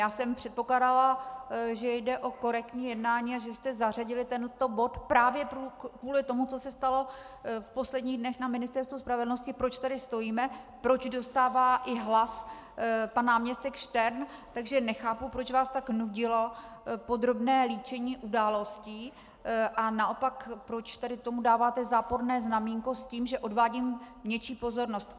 Já jsem předpokládala, že jde o korektní jednání a že jste zařadili tento bod právě kvůli tomu, co se stalo v posledních dnech na Ministerstvu spravedlnosti, proč tady stojíme, proč dostává i hlas pan náměstek Štern, takže nechápu, proč vás tak nudilo podrobné líčení událostí a naopak proč tady tomu dáváte záporné znaménko s tím, že odvádím něčí pozornost.